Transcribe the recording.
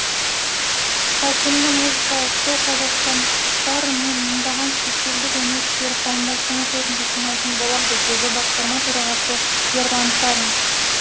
ауқымды музыкалық шоу қазақстандықтар мен мыңдаған шетелдік өнерсүйер қауымды астана төрінде жинайтын болады деді басқарма төрағасы ерлан карин